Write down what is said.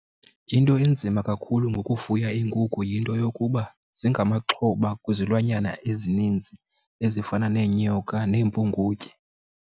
Into enzima kakhulu ngokufuya iinkukhu yinto yokuba zingamaxhoba kwizilwanyana ezininzi ezifana neenyoka nempungutye.